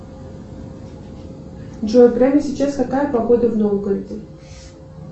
джой прямо сейчас какая погода в новгороде